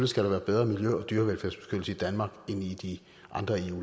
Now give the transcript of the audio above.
skal være bedre miljø og dyrevelfærd i danmark end i de andre eu